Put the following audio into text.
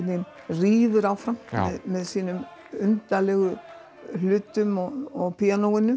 rífur áfram með sínum undarlegu hlutum og píanóinu